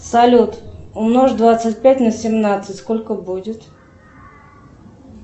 салют умножь двадцать пять на семнадцать сколько будет